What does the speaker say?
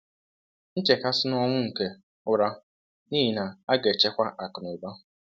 nchekasi na ọnwụ nke ụra n’ihi na a ga-echekwa akụnụba